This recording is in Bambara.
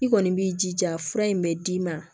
I kɔni b'i jija fura in bɛ d'i ma